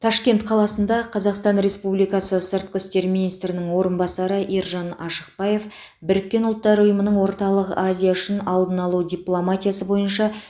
ташкент қаласында қазақстан республикасы сыртқы істер министрінің орынбасары ержан ашықбаев біріккен ұлттар ұйымының орталық азия үшін алдын алу дипломатиясы бойынша